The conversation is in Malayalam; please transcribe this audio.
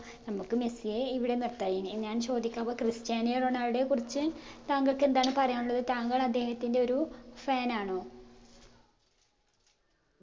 നമുക്ക് മെസ്സിയെ ഇവിടെ നിർത്താം ഇനി ഞാൻ ചോദിക്കാൻ പോ ക്രിസ്റ്റ്യാനോ റൊണാൾഡോ യെ കുറിച്ച് താങ്കൾക്ക് എന്താണ് പറയാനുള്ളത് താങ്കൾ അദ്ദേഹത്തിൻറെ ഒരു fan ആണോ